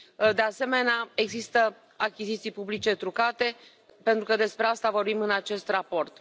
De asemenea, există achiziții publice trucate, pentru că despre asta vorbim în acest raport.